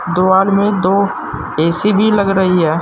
दो आदमी दो ए_सी भी लग रही है।